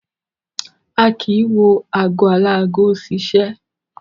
A kì í wo ago aláago ṣiṣẹ́.